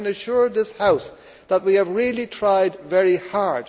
I can assure this House that we have really tried very hard.